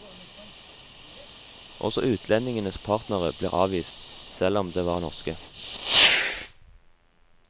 Også utlendingenes partnere ble avvist, selv om de var norske.